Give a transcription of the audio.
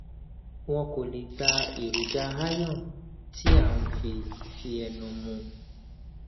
wọn kò lè gba èròjà iron tí à ń fi fi ẹnu mu